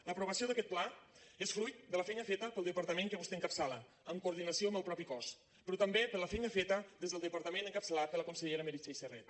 l’aprovació d’aquest pla és fruit de la feina feta pel departament que vostè encapçala en coordinació amb el mateix cos però també per la feina feta des del departament encapçalat per la consellera meritxell serret